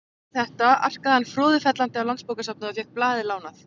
Þegar Össur heyrði þetta arkaði hann froðufellandi á Landsbókasafnið og fékk blaðið lánað.